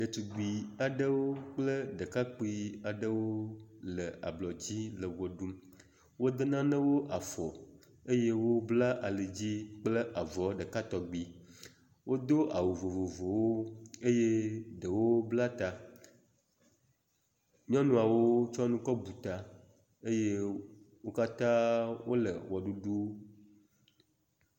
Ɖetugbiwo aɖewo kple ɖekakpui aɖewo le ablɔ dzi le wɔ ɖum, wode nanewo afɔ eye wobla ali dzi kple avɔ ɖeka tɔgbi, wodo awu vovovowo eye ɖewo bla ta. Nyɔnuawo tsɔ nu kɔ bu ta eye wo katã wole wɔɖuɖu…